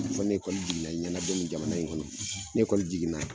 Fo ni jiginna i ɲɛna don min jamana in kɔnɔ. Ni jiginna